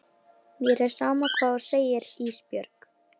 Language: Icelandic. Mér er sama hvað þú segir Ísbjörg.